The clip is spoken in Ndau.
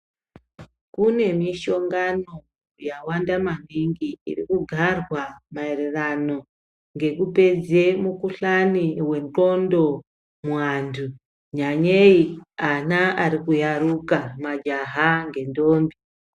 Kune mishongano yawanda maningi irikugarwa maererano ngekupedze mikuhlani wendxondo muantu nyanyayi ana arikuyaruka majaha ngentombi.